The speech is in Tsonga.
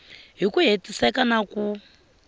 hi ku hetiseka na ku